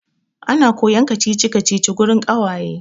Ana koyan kacici-kacici wurin ƙawaye.